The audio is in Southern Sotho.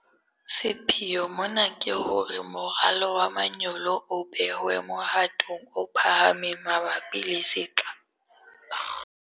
Sepheo mona ke hore moralo wa manyolo o behwe mohatong o phahameng mabapi le sehla se tlang.